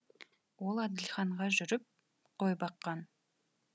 ол әділханға жүріп қой баққан